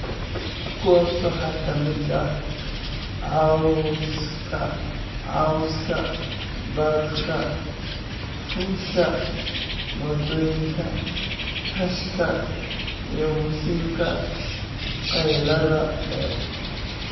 Kuwaas waxaa ka mid ah cawska cawska, barafka fuusha, mootooyinka, rashka, iyo muusiga qaylada dheer.